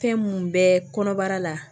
Fɛn minnu bɛ kɔnɔbara la